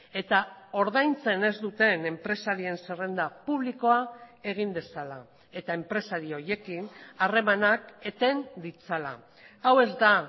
eta ordaintzen ez duten enpresarien zerrenda publikoa egin dezala eta enpresari horiekin harremanak eten ditzala hau ez da